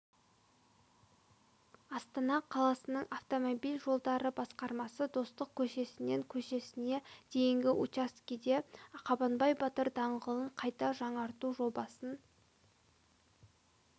астана қаласының автомобиль жолдары басқармасы достық көшесінен көшесіне дейінгі учаскеде қабанбай батыр даңғылын қайта жаңарту жобасын